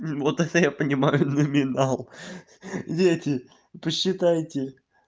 вот это я понимаю номинал дети посчитайте